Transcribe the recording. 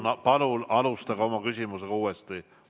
Palun alustage oma küsimust uuesti.